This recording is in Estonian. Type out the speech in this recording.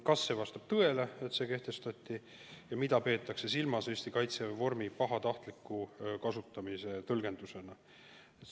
Kas vastab tõele, et see piirang kehtestati, ja mida peetakse silmas Eesti Kaitseväe vormi kandmise pahatahtliku tõlgendusena?